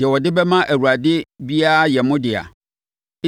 “Deɛ wɔde bɛma Awurade biara yɛ mo dea.